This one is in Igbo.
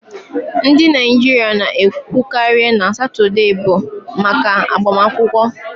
Ndị Naijiria na-ekwukarị na Satọde bụ maka agbamakwụkwọ